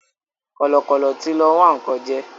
Kọ̀lọ̀kọ̀lọ̀ tí lọ wá nǹkan jẹ́